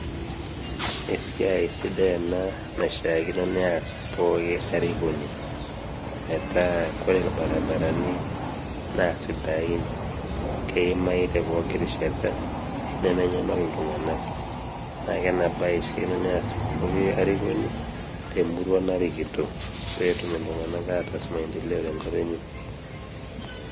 Esiai sidai ena naishiaakino neas pooki arikoni, metaa kore ilbarabarani naa sidain, keimayu te pooki rishata, nemenyal iltunganak. Naa kena bae naa eshiaakino neas pooki arikoni temurua narikito petum iltungank ataas maendeleo tenkop enye.